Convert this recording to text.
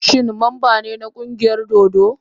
Shin mamba ne na kungiyar dodo?